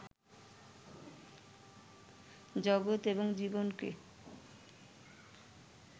জগত এবং জীবনকে